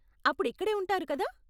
అప్పుడు ఇక్కడే ఉంటారు, కదా?